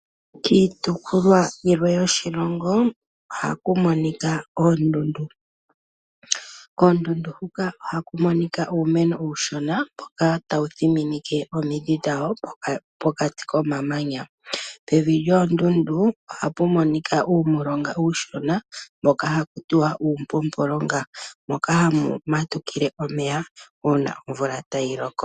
Kiitukulwa yilwe yoshilongo ohaku monika oondundu. Oondundu huka ohaku monika iimeno uushona mboka tawu thiminike omidhi dhawo pokati komamanya. Pevi lyoondundu ohapu monika uulonga uushona mboka haku tiwa uumpumpu longa moka hamu matukile omeya uuna nomvula tayi loko.